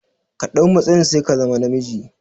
Ka ɗau matsayin sai ka zama na miji